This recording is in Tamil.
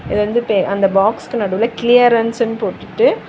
இது வந்து பே அந்த பாக்ஸ்க்கு நடுவுல கிளியரன்ஸ்ன்னு போட்டுட்டு.